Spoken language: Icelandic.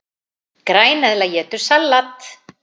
Græneðla étur salat!